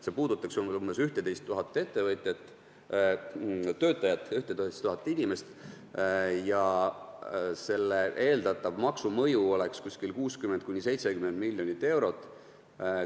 See puudutaks umbes 11 000 inimest ja selle eeldatav maksumõju oleks 60–70 miljonit eurot.